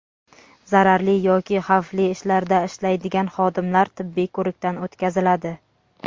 Zararli yoki xavfli ishlarda ishlaydigan xodimlar tibbiy ko‘rikdan o‘tkaziladi.